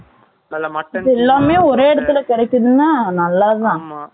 இது எல்லாமே, ஒரே இடத்துல கிடைக்குதுன்னா, நல்லதுதான். ஆமாம்.